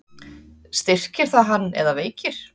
Styrkir það hann eða veikir?